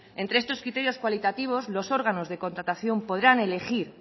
entre estos criterios cualitativos los órganos de contratación podrán elegir